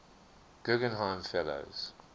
guggenheim fellows